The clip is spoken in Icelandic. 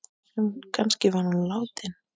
Kannski var hún látin.